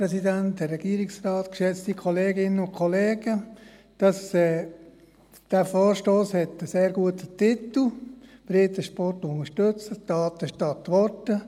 Dieser Vorstoss hat einen sehr guten Titel, «Breitensport unterstützen: Taten statt Worte».